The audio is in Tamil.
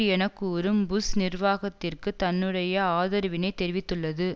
என கூறும் புஷ் நிர்வாகத்திற்கு தன்னுடைய ஆதரவினைத் தெரிவித்துள்ளது